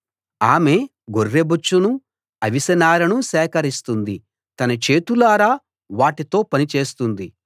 ఆమె గొర్రె బొచ్చును అవిసెనారను సేకరిస్తుంది తన చేతులారా వాటితో పని చేస్తుంది